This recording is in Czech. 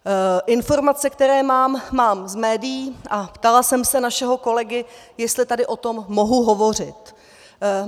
Informace, které mám, mám z médií a ptala jsem se našeho kolegy, jestli tady o tom mohu hovořit.